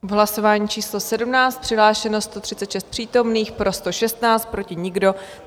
V hlasování číslo 17 přihlášeno 136 přítomných, pro 116, proti nikdo.